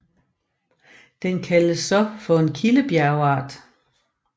Den kaldes så for en kildebjergart